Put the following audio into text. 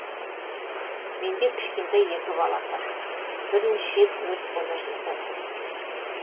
менде кішкентай екі балам бар бірнеше рет өрт бола жаздады